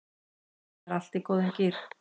Það er allt í góðum gír